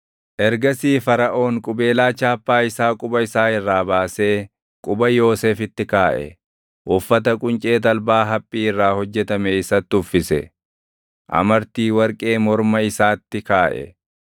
Ergasii Faraʼoon qubeelaa chaappaa isaa quba isaa irraa baasee quba Yoosefitti kaaʼe. Uffata quncee talbaa haphii irraa hojjetame isatti uffise; amartii warqee morma isaatti kaaʼe.